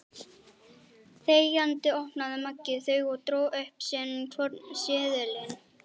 Þegjandi opnaði Maggi þau og dró upp sinn hvorn seðilinn.